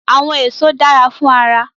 Awọn eso jẹ dara fun ara